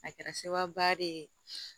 A kɛra sababuya de ye